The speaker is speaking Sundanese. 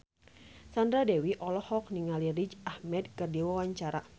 Sandra Dewi olohok ningali Riz Ahmed keur diwawancara